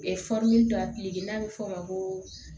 dɔ n'a bɛ fɔ o ma ko